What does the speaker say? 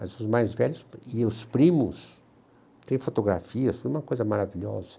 Mas os mais velhos e os primos têm fotografias, foi uma coisa maravilhosa.